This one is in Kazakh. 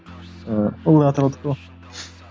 ыыы ол да атыраудікі ғой